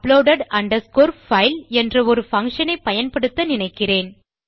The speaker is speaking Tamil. move uploaded file என்ற ஒரு பங்ஷன் ஐ பயன்படுத்த நினைக்கிறேன்